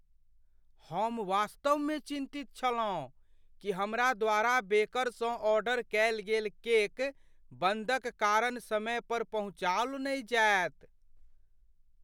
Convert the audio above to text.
हम वास्तवमे चिन्तित छलहुँ कि हमरा द्वारा बेकरसँ ऑर्डर कएल गेल केक बन्दक कारण समय पर पहुँचाओल नहि जाएत।